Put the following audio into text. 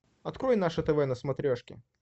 открой наше тв на смотрешке